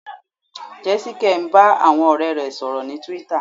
Jésíkẹ́ ń bá àwọn ọ̀rẹ́ rẹ̀ sọ̀rọ̀ ní Twitter.